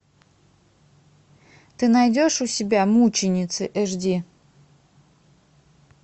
ты найдешь у себя мученицы эш ди